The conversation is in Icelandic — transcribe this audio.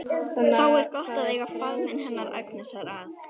Þá er gott að eiga faðminn hennar Agnesar að.